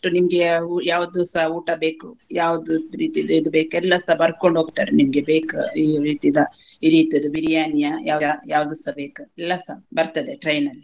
ನಿಮ್ಗೆ ಅವು ಯಾವ್ದೂಸ ಊಟಾ ಬೇಕು ಯಾವ್ದೂ ರೀತಿದು ಇದ್ ಬೇಕು ಎಲ್ಲಸ ಬರ್ಕೊಂಡ ಹೋಗ್ತಾರೆ ನಿಮ್ಗೆ ಬೇಕ ಈ ರೀತಿದ ಈ ರೀತಿದು biriyani ಯಾ ಯಾ~ ಯಾವ್ದುಸ ಬೇಕ ಎಲ್ಲಸ ಬರ್ತದೆ train ಅಲ್ಲಿ.